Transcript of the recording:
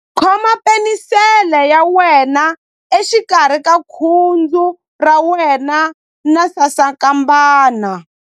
Khoma penisele ya wena exikarhi ka khudzu ra wena na sasankambana.